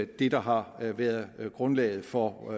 det der har været grundlaget for